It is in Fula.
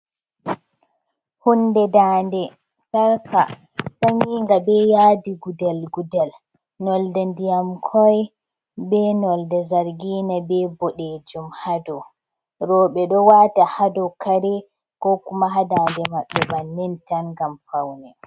Hunɗe ɗaɗe sarka saninga ɓe yadi gudel gudel, nolde diyam koi ɓe nolde zargina be boɗejum ha ɗow, roɓe ɗo wata ha ɗow kare ko kuma hadaɗe mabɓe banin tan gam paune.